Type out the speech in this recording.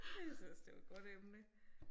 Jeg synes ellers det var et godt emne